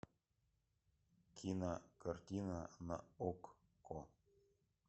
кинокартина на окко